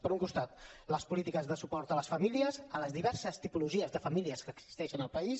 per un costat les polítiques de suport a les famílies a les diverses tipologies de famílies que existeixen al país